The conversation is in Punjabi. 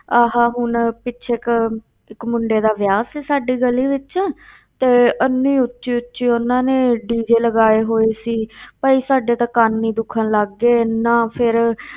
ਆਹ ਹੁਣ ਪਿੱਛੇ ਕੁ ਇੱਕ ਮੁੰਡੇ ਦਾ ਵਿਆਹ ਸੀ ਸਾਡੀ ਗਲੀ ਵਿੱਚ ਤੇ ਇੰਨੀ ਉੱਚੀ ਉੱਚੀ ਉਹਨਾਂ ਨੇ DJ ਲਗਾਏ ਹੋਏ ਸੀ ਭਾਈ ਸਾਡੇ ਤਾਂ ਕੰਨ ਹੀ ਦੁਖਣ ਲੱਗ ਗਏ, ਇੰਨਾ ਫਿਰ